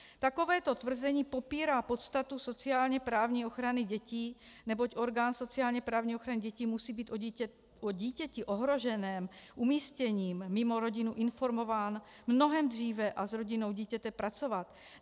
Takovéto tvrzení popírá podstatu sociálně-právní ochrany dětí, neboť orgán sociálně-právní ochrany dětí musí být o dítěti ohroženém umístěním mimo rodinu informován mnohem dříve a s rodinou dítěte pracovat.